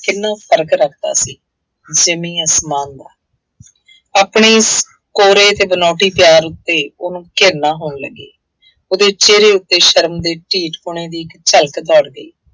ਕਿੰਨਾ ਫਰਕ ਰੱਖਦਾ ਸੀ। ਜ਼ਮੀਨ ਅਸਮਾਨ ਦਾ, ਆਪਣੀ ਇਸ ਕੋਰੇ ਅਤੇ ਬਨਾਉਟੀ ਪਿਆਰ ਉੱਤੇ ਉਹਨੂੰ ਘਿਰਣਾ ਹੋਣ ਲੱਗੀ। ਉਹਦੇ ਚਿਹਰੇ ਉੱਤੇ ਸ਼ਰਮ ਦੇ ਢੀਠ-ਪੁਣੇ ਦੀ ਝਲਕ ਦੌੜ ਗਈ।